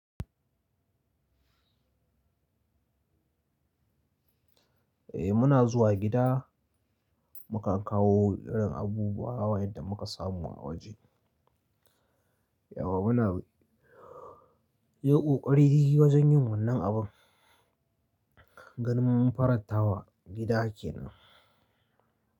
Eh muna zuwa gida mukan kawo irin abubuwa wa yanda muka samu a waje. Yauwa muna yi ƙoƙari wajen yin wannan abun. Gani mun farantawa gida kenan.